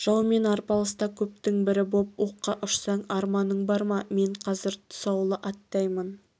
жаумен арпалыста көптің бірі боп оққа ұшсаң арманың бар ма мен қазір тұсаулы аттаймын